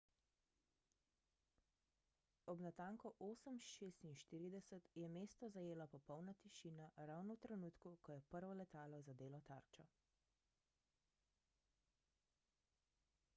ob natanko 8.46 je mesto zajela popolna tišina ravno v trenutku ko je prvo letalo zadelo tarčo